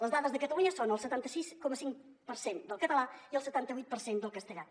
les dades de catalunya són el setanta sis coma cinc per cent del català i el setanta vuit per cent del castellà